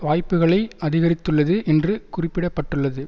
வாய்ப்புக்களை அதிகரித்துள்ளது என்று குறிப்பிட பட்டுள்ளது